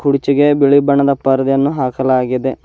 ಕೂರ್ಚಿಗೆ ಬಿಳಿ ಬಣ್ಣದ ಪರದೆಯನ್ನು ಹಾಕಲಾಗಿದೆ.